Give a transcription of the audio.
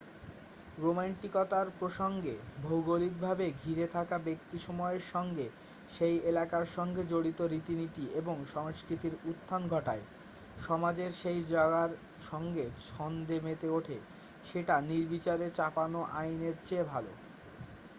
রোম্যান্টিকতার প্রসঙ্গে ভৌগলিকভাবে ঘিরে থাকা ব্যক্তি সময়ের সঙ্গে সেই এলাকার সঙ্গে জড়িত রীতিনীতি এবং সংস্কৃতির উত্থান ঘটায় সমাজের সেই জায়গার সঙ্গে ছন্দে মেতে ওঠে সেটা নির্বিচারে চাপানো আইনের চেয়ে ভালো